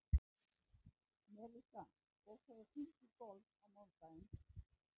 Melissa, bókaðu hring í golf á mánudaginn.